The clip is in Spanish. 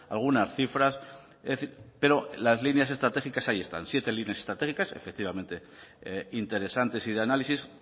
algunas cifras es decir pero las líneas estratégicas hay están siete líneas estratégicas efectivamente interesantes y de análisis